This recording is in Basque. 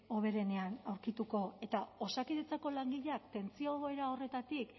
hoberenean aurkituko eta osakidetzako langileak tentsio egoera horretatik